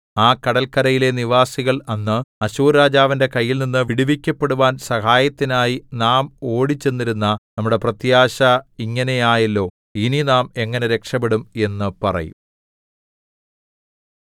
ഈ കടല്ക്കരയിലെ നിവാസികൾ അന്ന് അശ്ശൂർരാജാവിന്റെ കൈയിൽനിന്നു വിടുവിക്കപ്പെടുവാൻ സഹായത്തിനായി നാം ഓടിച്ചെന്നിരുന്ന നമ്മുടെ പ്രത്യാശ ഇങ്ങനെ ആയല്ലോ ഇനി നാം എങ്ങനെ രക്ഷപ്പെടും എന്നു പറയും